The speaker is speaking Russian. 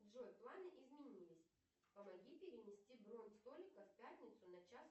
джой планы изменились помоги перенести бронь столика в пятницу на час